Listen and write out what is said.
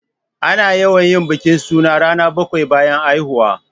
Ana yawan yin bikin suna rana bakwai bayan haihuwa.